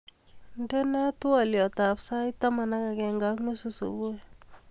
Indenee twoliotab sait taman ak agenge ak nusu subui